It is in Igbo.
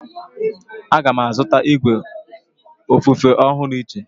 Aga m azụta igwe ofufe ọhụrụ echi.